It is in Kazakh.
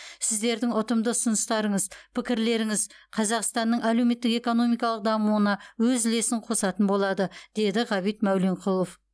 сіздердің ұтымды ұсыныстарыңыз пікірлеріңіз қазақстанның әлеуметтік экономикалық дамуына өз үлесін қосатын болады деді ғабит мәуленқұлов